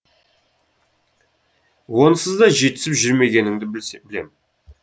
онсыз да жетісіп жүрмегеніңді білем